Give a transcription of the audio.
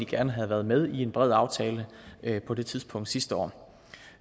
gerne havde været med i en bred aftale på det tidspunkt sidste år